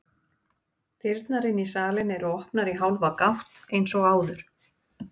Dyrnar inn í salinn eru opnar í hálfa gátt eins og áður.